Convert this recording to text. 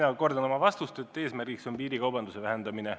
Ja mina kordan oma vastust, et eesmärk on piirikaubanduse vähendamine.